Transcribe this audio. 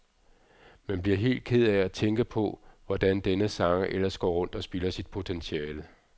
Man bliver helt ked af at tænke på, hvordan denne sanger ellers går rundt og spilder sit potentiale.